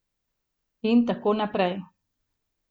In tako naprej.